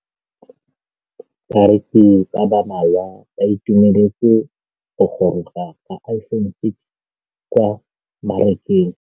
Bareki ba ba malwa ba ituemeletse go gôrôga ga Iphone6 kwa mmarakeng.